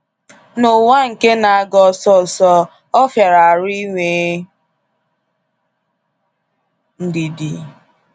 N'ụwa nke na-aga ọsọsọ, ọ fịara arụ inwe ndidi.